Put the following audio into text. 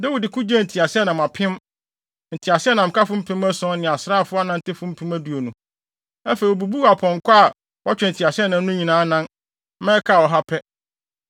Dawid ko gyee nteaseɛnam apem, nteaseɛnamkafo mpem ason ne asraafo anantefo mpem aduonu. Afei, obubuu apɔnkɔ a wɔtwe nteaseɛnam no nyinaa anan, ma ɛkaa ɔha pɛ.